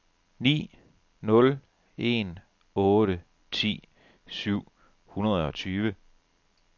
ni nul en otte ti syv hundrede og tyve